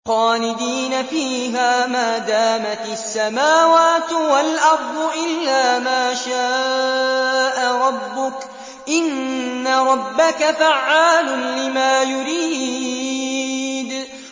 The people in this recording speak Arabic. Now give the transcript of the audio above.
خَالِدِينَ فِيهَا مَا دَامَتِ السَّمَاوَاتُ وَالْأَرْضُ إِلَّا مَا شَاءَ رَبُّكَ ۚ إِنَّ رَبَّكَ فَعَّالٌ لِّمَا يُرِيدُ